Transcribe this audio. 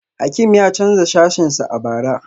Hakim ya canza sashensa a bara